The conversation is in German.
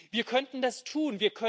Wir könnten das tun.